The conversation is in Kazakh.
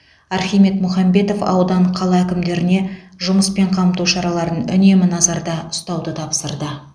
архимед мұхамбетов аудан қала әкімдеріне жұмыспен қамту шараларын үнемі назарда ұстауды тапсырды